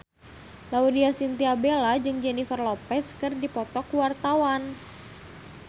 Laudya Chintya Bella jeung Jennifer Lopez keur dipoto ku wartawan